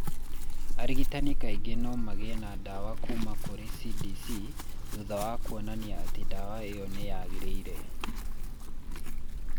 Arigitani kaingĩ no magĩe na ndawa kuuma kũrĩ CDC thutha wa kuonania atĩ ndawa ĩyo nĩ yagĩrĩire.